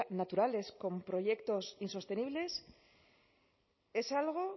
naturales con proyectos insostenibles es algo